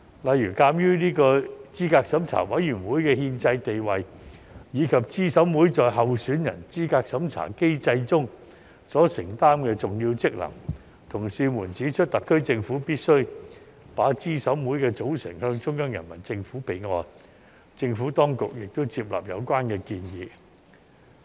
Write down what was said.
例如，鑒於資審會的憲制地位及資審會在候選人資格審查機制中所承擔的重要職能，同事們指出特區政府必須把資審會的組成向中央人民政府備案，政府當局亦接納有關建議。